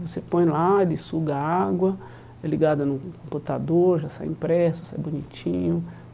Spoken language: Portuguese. Você põe lá, ele suga água, é ligado no computador, já sai impresso, sai bonitinho.